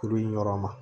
Kuru in yɔrɔ ma